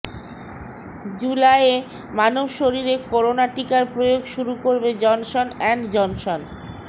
জুলাইয়ে মানব শরীরে করোনা টিকার প্রয়োগ শুরু করবে জনসন অ্যান্ড জনসন